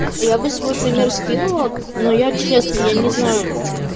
я бы свой пример скинула но я честно я не знаю